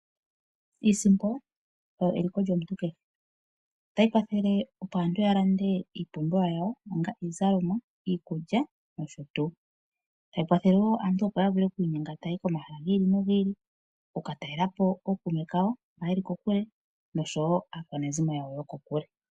Iisimpo oyo eliko lyomuntu kehe otayi kwathele opo aantu ya lande iipumbiwa yawo onga iizalomwa, iikulya nosho tuu tayi kwathele wo aantu opo ya vule oku inyenga tayayi komahala gi ili nogi ili oku ka talelapo ookume kawo mba yeli kokule nosho aakwanezimo yawo yoko kule.